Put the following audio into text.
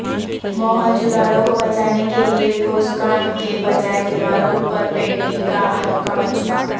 موہنجودڑو کوبچانے کیلئے ٹھوس کام کے بجائے دیواروں پرپینٹنگ کاانوکھامنصوبہ